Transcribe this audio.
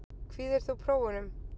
Kvíðir þú prófunum?